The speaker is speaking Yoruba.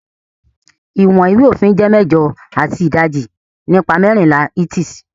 iwọn ìwé òfin jé mẹjọ ati idaji nipa mẹrinla inches